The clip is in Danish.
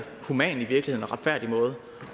human